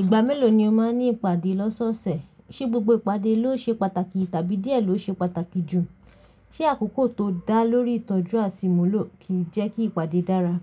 Ìgbà mélòó ni o máa ń ní ìpàdé lọ́sọ́ọ̀sẹ̀? Ṣé gbogbo ìpàdé ló ṣe pàtàkì tàbí díẹ̀ ló ṣe pàtàkì jù? Ṣé àkókò tó dá lórí ìtọ́jú àṣìnmúlò kì í jẹ́ kí ìpàdé dára?